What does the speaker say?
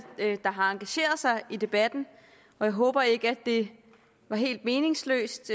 der har engageret sig i debatten jeg håber ikke at det var helt meningsløst